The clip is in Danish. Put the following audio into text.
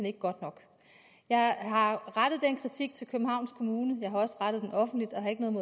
ikke godt nok jeg har rettet den kritik til københavns kommune jeg har også rettet den offentligt og har ikke noget